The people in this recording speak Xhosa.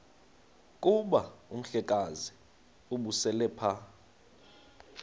kuba umhlekazi ubeselelapha